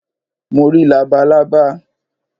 Mo rí labalábá